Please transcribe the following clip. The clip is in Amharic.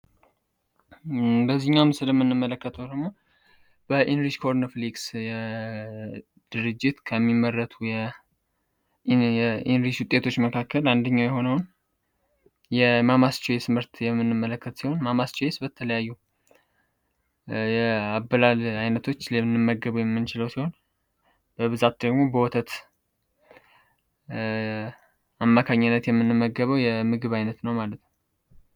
ይህኛው ምስል የምንመለከት ወደግሞ በኢንris ኮርn ፍlክስ የድርጅት ከሚመረቱ የኢንris ውጤቶች መካከል አንደኛው የሆነውን የማmስtይ ስምህርት የምንመለከት ሲሆን mmስcይስ በተለያዩ የአበላል ዓይነቶች ለንመገቡ የሚንችለው ሲሆን በብዛት ደግሞ በወተት አማካኝነት የምንመገበው የምግብ ዓይነት ነው ማለት።